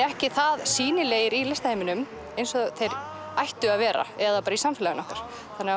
ekki það sýnilegir í listaheiminum eins og þeir ættu að vera eða í samfélaginu okkar